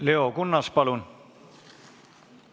Leo Kunnas, palun!